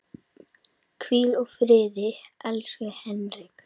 Hvíl í friði, elsku Henrik.